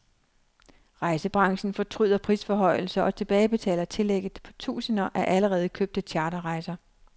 Rejsebranchen fortryder prisforhøjelser og tilbagebetaler tillægget på tusinder af allerede købte charterrejser.